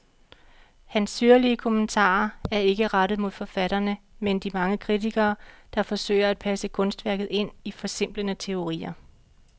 Hans syrlige kommentarer er ikke rettet mod forfatterne, men de mange kritikere, der forsøger at passe kunstværket ind i forsimplende teorier.